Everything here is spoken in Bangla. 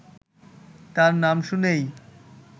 তার নাম শুনেই